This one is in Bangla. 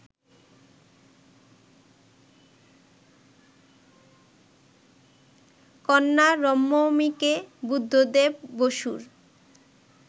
কন্যা রম্নমিকে বুদ্ধদেব বসুর